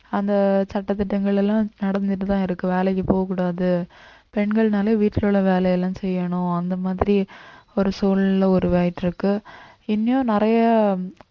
அந்த சட்ட திட்டங்கள் எல்லாம் நடந்துட்டுதான் இருக்கு வேலைக்கு போகக் கூடாது பெண்கள்னாலே வீட்டில உள்ள வேலை எல்லாம் செய்யணும் அந்த மாதிரி ஒரு சூழல்ல உருவாகிட்டு இருக்கு இனியும் நிறைய